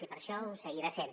i per això ho seguirà sent